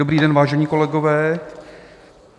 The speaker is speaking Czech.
Dobrý den, vážení kolegové.